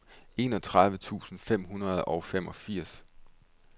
enogtredive tusind fem hundrede og femogfirs